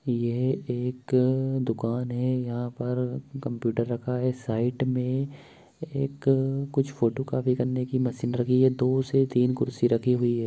यह एक दुकान है यहां पर कंप्यूटर रखा है साइड में एक कुछ फोटोकॉपी करने की मशीन है दो से तीन कुर्सी रखी है।